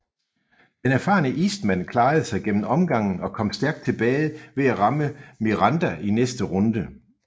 Den erfarne Eastman klarede sig gennem omgangen og kom stærkt tilbage ved at ramme Miranda i næste runde